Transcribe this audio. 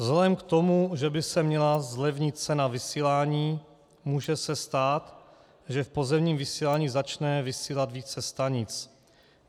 Vzhledem k tomu, že by se měla zlevnit cena vysílání, může se stát, že v pozemním vysílání začne vysílat více stanic.